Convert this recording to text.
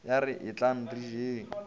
ya re etlang re jeng